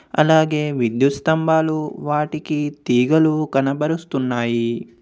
అలాగే విద్యుత్ స్థంభాలు వాటికి తీగలు కనబరుస్తున్నాయి.